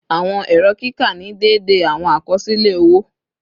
Awọn ẹrọ kika ni deede awọn akọsilẹ owo